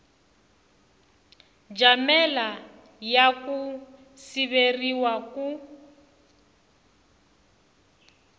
jamela ya ku siveriwa ku